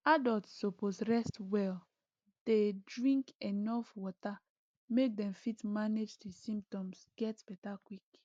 adults suppose rest well dey drink enuf water make dem fit manage di symptoms get beta quick